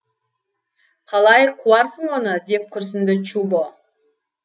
қалай қуарсың оны деп күрсінді чубо